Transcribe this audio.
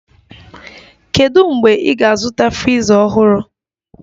Kedu mgbe ị ga-azụta friza ọhụrụ?